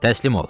Təslim ol!